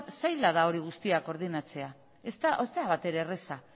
zaila da hori guztia koordinatzea ez da batere erraza